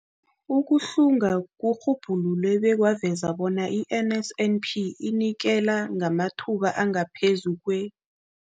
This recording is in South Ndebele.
Ukuhlunga kurhubhulule bekwaveza bona i-NSNP inikela ngamathuba angaphezulu kwe-